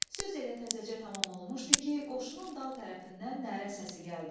Söz elə təzəcə tamam olmuşdu ki, qoşunun dal tərəfindən nərə səsi gəldi.